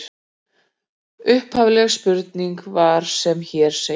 Upphafleg spurning var sem hér segir: